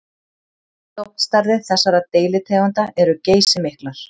Stofnstærðir þessara deilitegunda eru geysimiklar.